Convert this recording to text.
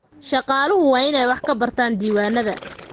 Shaqaaluhu waa inay wax ka bartaan diiwaanada.